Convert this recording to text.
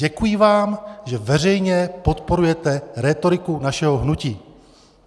Děkuji vám, že veřejně podporujete rétoriku našeho hnutí.